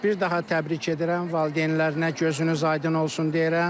Bir daha təbrik edirəm, valideynlərinə gözünüz aydın olsun deyirəm.